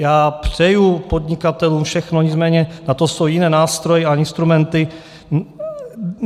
Já přeji podnikatelům všechno, nicméně na to jsou jiné nástroje a instrumenty.